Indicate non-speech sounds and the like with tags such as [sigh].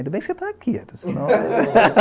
Ainda bem que você está aqui, senão... [laughs]